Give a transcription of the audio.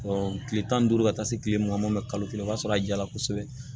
kile tan ni duuru ka taa se kile mugan ma kalo kelen o b'a sɔrɔ a jala kosɛbɛ